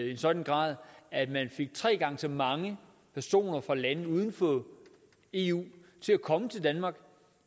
i en sådan grad at man fik tre gange så mange personer fra lande uden for eu til at komme til danmark